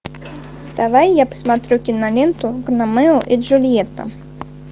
давай я посмотрю киноленту гномео и джульетта